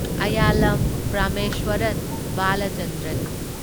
ꯑꯥꯢꯌꯥꯂꯝ Parameswaran Balachandran